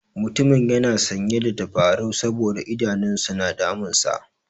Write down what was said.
Mutumin yana sanye da tabarau saboda idanun sa na damunsa.